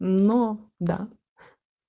но да